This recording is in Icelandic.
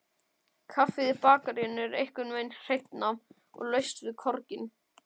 Kaffið í bakaríinu er einhvernveginn hreinna, og laust við korginn.